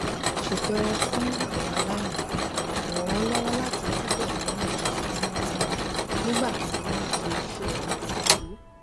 ṣètọrẹ fún àwọn aláìní ràn wọn lọwọ láti túbọ ní àjọṣe tímótímó nígbà tí wọn ń ṣe iṣẹ àtìpó